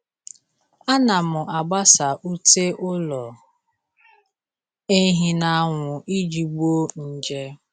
A na m agbasa ute ụlọ ehi n'anwụ iji gbuo nje.